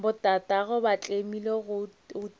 botatagwe ba tlemile go tiile